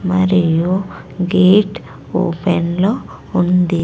మరియు gate open లో ఉంది.